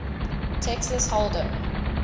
texas hold em